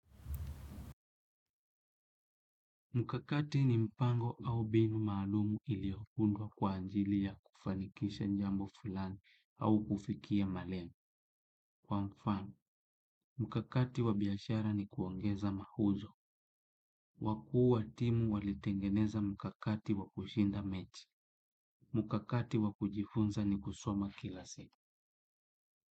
Mkakati ni mpango au mbinu maalum iliyoundwa kwa ajili ya kufanikisha jambo fulani au kufikia malengo. Kwa mfano, mkakati wa biashara ni kuongeza mauzo. Wakuu wa timu walitengeneza mkakati wa kushinda mechi. Mkakati wa kujifunza ni kusoma kila siku.